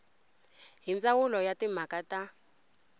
hi ndzawulo ya timhaka ta